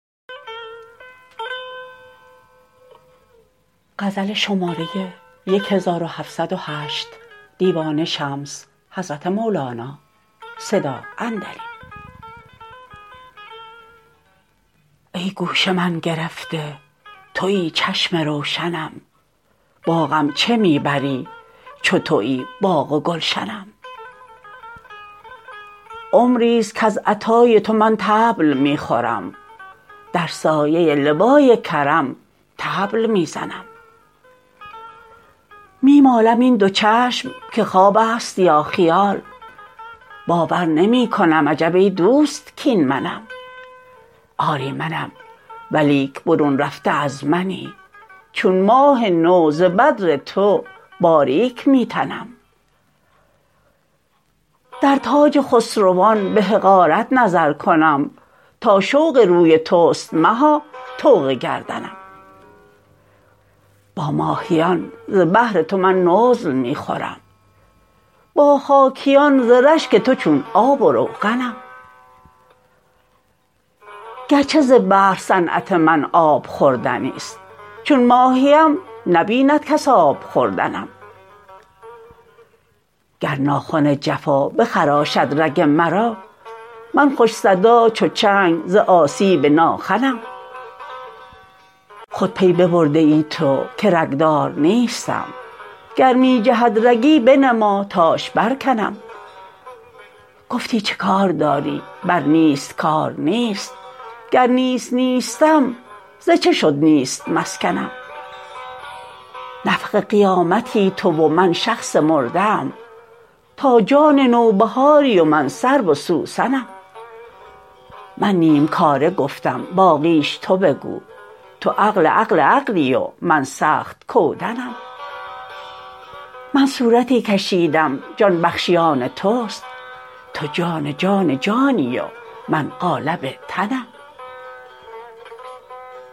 ای گوش من گرفته توی چشم روشنم باغم چه می بری چو توی باغ و گلشنم عمری است کز عطای تو من طبل می خورم در سایه لوای کرم طبل می زنم می مالم این دو چشم که خواب است یا خیال باور نمی کنم عجب ای دوست کاین منم آری منم ولیک برون رفته از منی چون ماه نو ز بدر تو باریک می تنم در تاج خسروان به حقارت نظر کنم تا شوق روی توست مها طوق گردنم با ماهیان ز بحر تو من نزل می خورم با خاکیان ز رشک تو چون آب و روغنم گرچه ز بحر صنعت من آب خوردنی است چون ماهیم نبیند کس آب خوردنم گر ناخن جفا بخراشد رگ مرا من خوش صدا چو چنگ ز آسیب ناخنم خود پی ببرده ای تو که رگ دار نیستم گر می جهد رگی بنما تاش برکنم گفتی چه کار داری بر نیست کار نیست گر نیست نیستم ز چه شد نیست مسکنم نفخ قیامتی تو و من شخص مرده ام تو جان نوبهاری و من سرو و سوسنم من نیم کاره گفتم باقیش تو بگو تو عقل عقل عقلی و من سخت کودنم من صورتی کشیدم جان بخشی آن توست تو جان جان جانی و من قالب تنم